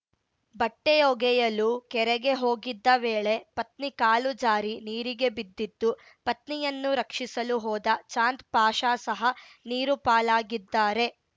ಬಟ್ಟೆಒಗೆಯಲು ಕೆರೆಗೆ ಹೋಗಿದ್ದ ವೇಳೆ ಪತ್ನಿ ಕಾಲು ಜಾರಿ ನೀರಿಗೆ ಬಿದ್ದಿದ್ದು ಪತ್ನಿಯನ್ನು ರಕ್ಷಿಸಲು ಹೋದ ಚಾಂದ್‌ಪಾಷ ಸಹ ನೀರು ಪಾಲಾಗಿದ್ದಾರೆ